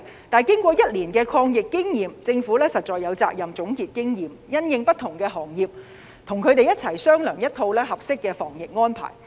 但是，經過1年抗疫經驗，政府實在有責任總結經驗，因應不同行業跟業界商量一套合適的防疫安排。